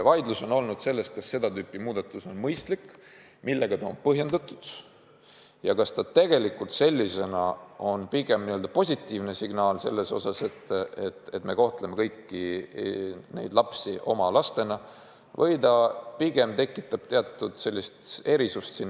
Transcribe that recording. Vaidlus on olnud selle üle, kas seda tüüpi muudatus on mõistlik, millega see on põhjendatud ja kas see on positiivne signaal selle kohta, et me kohtleme kõiki neid lapsi oma lastena, või see pigem tekitab teatud erisusi.